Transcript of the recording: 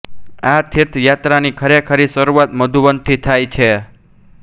આ તીર્થ યાત્રાની ખરેખરી શરૂઆત મધુવનથી થાય છે